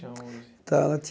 Tinha onze. Então ela